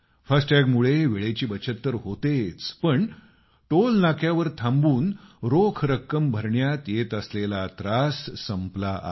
FASTag मुळे वेळेची बचत तर होतेच पण टोल नाक्यावर थांबून रोख रक्कम भरण्यात येत असलेला त्रास संपला आहे